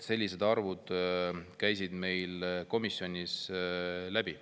Sellised arvud käisid meil komisjonis läbi.